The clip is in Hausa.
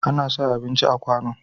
Ana sa abinci a kwano.